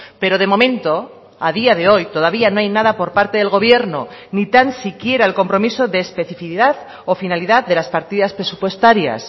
pero de momento a día de hoy todavía no hay nada por parte del gobierno ni tan siquiera el compromiso de especificidad o finalidad de las partidas presupuestarias